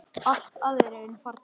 Allir aðrir eru farnir.